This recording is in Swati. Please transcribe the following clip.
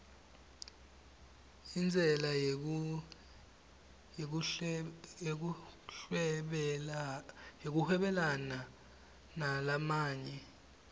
intsela yekuhwebelana nalamanye